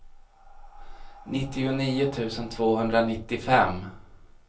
nittionio tusen tvåhundranittiofem